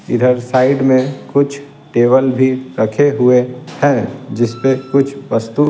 इधर साइड में कुछ टेबल भी रखे हुए हैं जिस पे कुछ वस्तु --